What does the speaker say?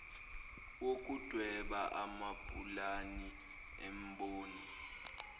wokudweba amapulani emboni